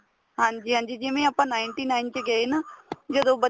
ਹਾਂਜੀ ਹਾਂਜੀ ਜਿਵੇਂ ਆਪਾਂ ninety nine ਚ ਗਏ ਨਾ ਜਦੋਂ